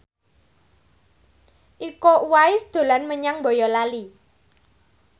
Iko Uwais dolan menyang Boyolali